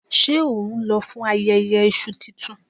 Ṣé ohun lọ fún ayẹyẹ Iṣu tuntun?